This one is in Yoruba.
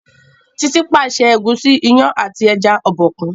Titi pàṣẹ Egusi, iyán àti ẹja Obòkun.